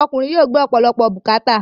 Ọkùnrin yóò gbé ọ̀pọ̀lọpọ̀ bùkàátà.